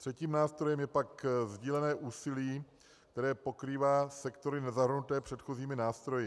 Třetím nástrojem je pak sdílené úsilí, které pokrývá sektory nezahrnuté předchozími nástroji.